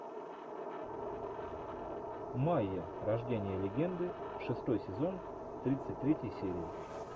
майя рождение легенды шестой сезон тридцать третья серия